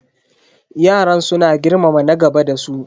Yaran suna girmama na gaba da su.